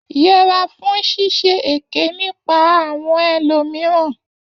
Yẹra fún ṣíṣe èké nípa àwọn elò mìíràn.